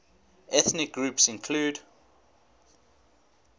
ethnic groups include